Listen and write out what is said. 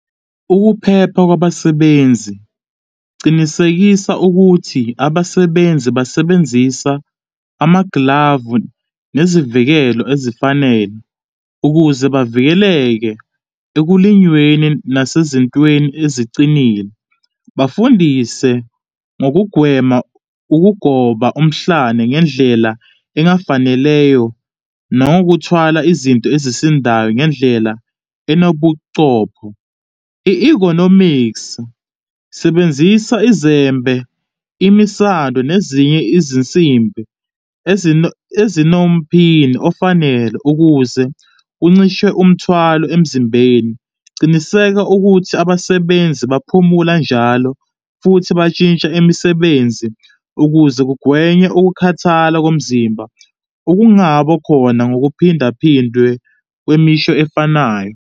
Ukuphepha kwabasebenzi, cinisekisa ukuthi abasebenzi basebenzisa amaglavu nezivikelo ezifanele ukuze bavikeleke ekulinyweni nasezintweni ezicile. Bafundise ngokugwema ukugoba umhlane ngendlela engafaneleyo, nokuthwala izinto ezisindayo ngendlela enobucopho. I-ergonomics, sebenzisa izembe, imisado nezinye izinsimbi ezinomphini ofanele ukuze kuncishwe umthwalo emzimbeni. Cinisekisa ukuthi abasebenzi baphumula njalo futhi batshintsha imisebenzi ukuze kugwenywe ukukhathala komzimba, okungaba khona ngokuphindaphindwe kwemisho efanayo.